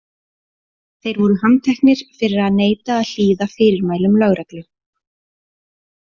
Þeir voru handteknir fyrir að neita að hlýða fyrirmælum lögreglu.